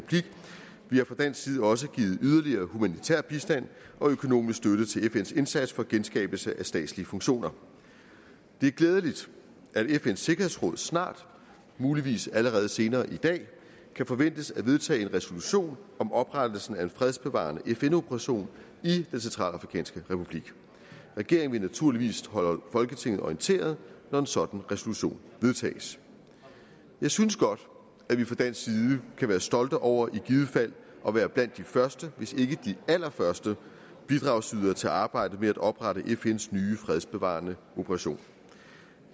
bliver fra dansk side også givet yderligere humanitær bistand og økonomisk støtte til fns indsats for genskabelse af statslige funktioner det er glædeligt at fns sikkerhedsråd snart muligvis allerede senere i dag kan forventes at vedtage en resolution om oprettelsen af en fredsbevarende fn operation i den centralafrikanske republik regeringen vil naturligvis holde folketinget orienteret når en sådan resolution vedtages jeg synes godt at vi fra dansk side kan være stolte over i givet fald at være blandt de første hvis ikke de allerførste bidragsydere til at arbejde med at oprette fns nye fredsbevarende operation